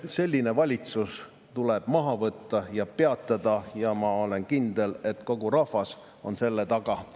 Selline valitsus tuleb maha võtta ja peatada ja ma olen kindel, et kogu rahvas on selle taga.